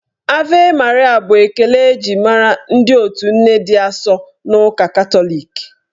"Ave Maria" bụ ekele eji mara ndị otu Nne dị asọ n'ụka Katọlik.